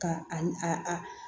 Ka a a